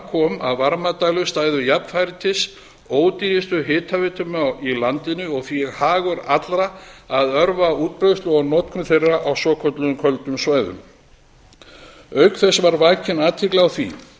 kom að varmadælur stæðu jafnfætis ódýrustu hitaveitum í landinu og því hagur allra að örva útbreiðslu og notkun þeirra á svokölluðum köldum svæðum auk þess var vakin athygli á því